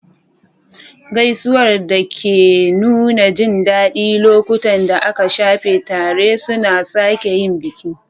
Gaisuwar da ke nuna jin daɗin lokutan da aka shafe tare suna sake yin biki.